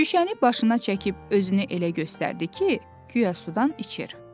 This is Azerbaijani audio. Şüşəni başına çəkib özünü elə göstərdi ki, guya sudan içir.